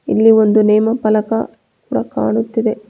ಇಲ್ಲಿ ಒಂದು ನೇಮಫಲಕ ಪ್ರ ಕಾಣುತ್ತಿದೆ.